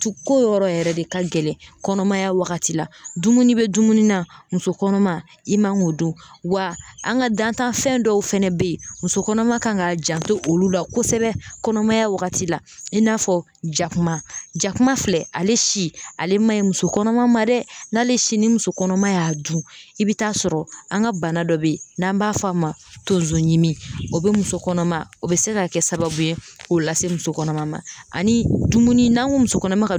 Tu ko yɔrɔ yɛrɛ de ka gɛlɛn kɔnɔmaya wagati la dumuni bɛ dumuni na muso kɔnɔma i man k'o dun wa an ka dantanfɛn dɔw fana bɛ yen muso kɔnɔma kan ka janto olu la kosɛbɛ kɔnɔmaya wagati la i n'a fɔ jakuma jakuma filɛ ale si ale man ɲi muso kɔnɔma ma dɛ n'ale si ni muso kɔnɔma y'a dun i bɛ taa sɔrɔ an ka bana dɔ bɛ yen n'an b'a fɔ a ma tonsoɲimi o bɛ muso kɔnɔma o bɛ se ka kɛ sababu ye k'o lase muso kɔnɔma ma ani dumuni n'a ko muso kɔnɔma ka